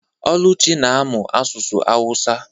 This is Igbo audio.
Oluchi na-amụ asụsụ awusa.